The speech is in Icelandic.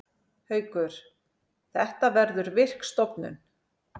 Haukur: Þetta verður virk stofnun.